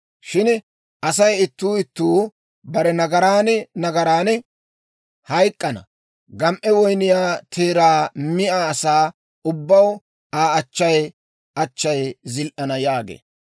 Shin Asay Ittuu Ittuu bare nagaran nagaran hayk'k'ana; gam"e woyniyaa teeraa miyaa asaa ubbaw Aa achchay achchay zil"ana» yaagee.